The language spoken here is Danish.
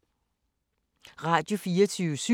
Radio24syv